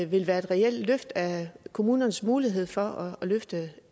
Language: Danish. vil være et reelt løft af kommunernes mulighed for at løfte